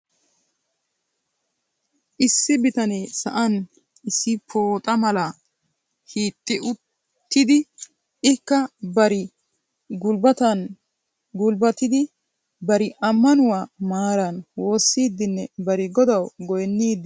Issi bitanee sa'an issi pooxa malaa hiixi uttidi ikka bari gulbbatan gulbbatidi bari ammanuwaa maaran woossidinne bari godaw goynnidi de'ees.